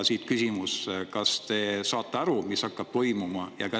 Siit küsimus: kas te saate aru, mis hakkab toimuma?